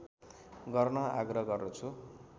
गर्न आग्रह गर्दछु